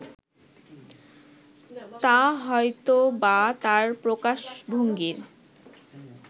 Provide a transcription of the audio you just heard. তা হয়তোবা তাঁর প্রকাশভঙ্গির